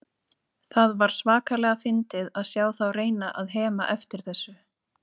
Það var svakalega fyndið að sjá þá reyna að hema eftir þessu.